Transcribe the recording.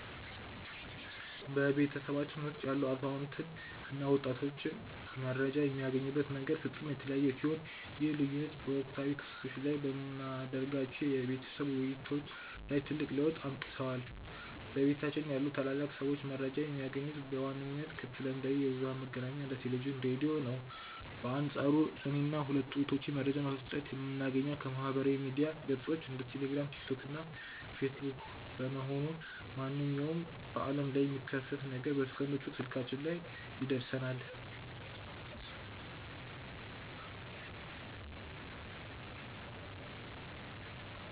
በቤተሰባችን ውስጥ ያሉ አዛውንት እና ወጣቶች መረጃን የሚያገኙበት መንገድ ፍጹም የተለያየ ሲሆን፣ ይህ ልዩነት በወቅታዊ ክስተቶች ላይ በምናደርጋቸው የቤተሰብ ውይይቶች ላይ ትልቅ ለውጥ አምጥቷል። በቤታችን ያሉ ታላላቅ ሰዎች መረጃን የሚያገኙት በዋነኝነት ከተለምዷዊ የብዙኃን መገናኛዎች እንደ ቴሌቪዥን፣ ራዲዮ ነው። በአንፃሩ እኔና ሁለቱ እህቶቼ መረጃን በፍጥነት የምናገኘው ከማኅበራዊ ሚዲያ ገጾች (እንደ ቴሌግራም፣ ቲክቶክ እና ፌስቡክ) በመሆኑ፣ ማንኛውም በዓለም ላይ የሚከሰት ነገር በሰከንዶች ውስጥ ስልካችን ላይ ይደርሰናል።